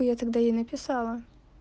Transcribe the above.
хуя тогда ей написала